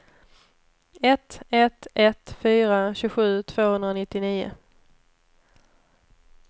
ett ett ett fyra tjugosju tvåhundranittionio